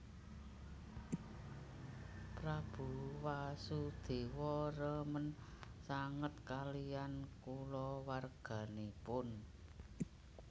Prabu Wasudewa remen sanget kaliyan kulawarganipun